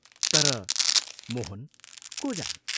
तर मोहन को जाने?